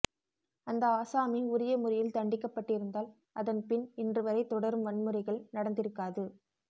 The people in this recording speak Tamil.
அந்த ஆசாமி உரிய முறையில் தண்டிக்கப்பட்டிருந்தால் அதன் பின் இன்றுவரை தொடரும் வன்முறைகள் நடந்திருக்காது